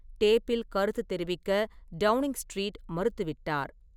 டேப்பில் கருத்து தெரிவிக்க டவுனிங் ஸ்ட்ரீட் மறுத்துவிட்டார்.